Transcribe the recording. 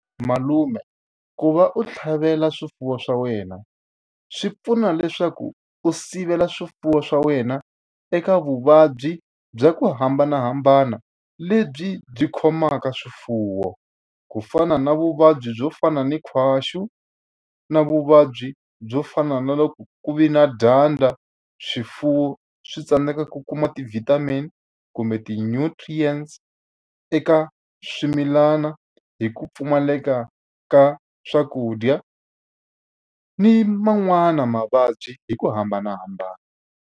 Malume ku va u tlhavela swifuwo swa wena swi pfuna leswaku u sivela swifuwo swa wena eka vuvabyi bya ku hambanahambana lebyi byi khomaka swifuwo. Ku fana na vuvabyi byo fana na nkhwaxu, na vuvabyi byo fana na loko ku ve na dyandza swifuwo swi tsandzeka ku kuma ti-vitamin kumbe ti-nutrients eka swimilana, hi ku pfumaleka ka swakudya. Ni man'wani mavabyi hi ku hambanahambana.